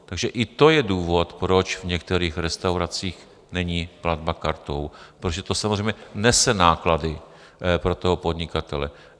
Takže i to je důvod, proč v některých restauracích není platba kartou, protože to samozřejmě nese náklady pro toho podnikatele.